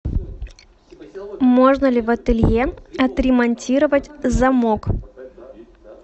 можно ли в ателье отремонтировать замок